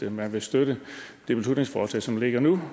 at man vil støtte det beslutningsforslag som ligger nu